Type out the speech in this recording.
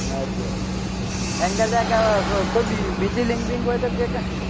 સાચી વાત છે એમ કરજે કોઈ બીજી link બિંક હોય તો કેક